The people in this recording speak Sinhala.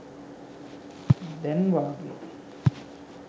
දැන් වාගේ.